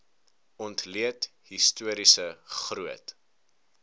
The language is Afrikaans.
ontleed historiese groot